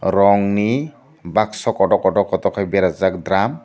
rong ni bakso koto koto koto koto kei beraijakh deram.